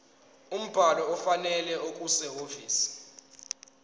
umbhalo ofanele okusehhovisi